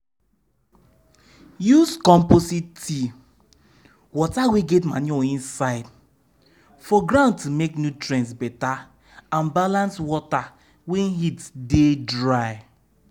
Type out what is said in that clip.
use composit tea (water wey get manure inside) for ground to make nutrients better and balance water when heat dey dry.